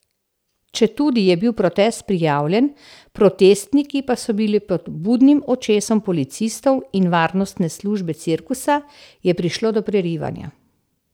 Četudi je bil protest prijavljen, protestniki pa so bili pod budnim očesom policistov in varnostne službe cirkusa, je prišlo do prerivanja.